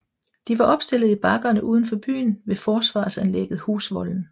De var opstillet i bakkerne uden for byen ved forsvarsanlægget Husvolden